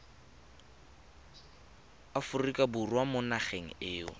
aforika borwa mo nageng eo